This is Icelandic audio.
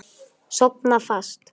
Sofna fast.